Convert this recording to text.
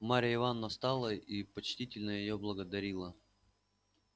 марья ивановна встала и почтительно её благодарила